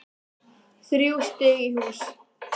Þrjú stig í hús